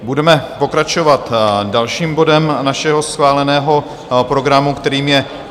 Budeme pokračovat dalším bodem našeho schváleného programu, kterým je